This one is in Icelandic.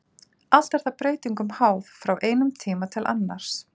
Allt er það breytingum háð frá einum tíma til annars.